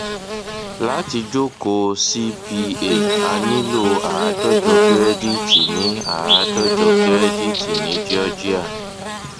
láti jókòó cpa a nílò àádọjọ kírẹdíìtì ní àádọjọ kírẹdíìtì ní georgia